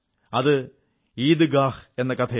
അത് ഈദ്ഗാഹ് എന്ന കഥയാണ്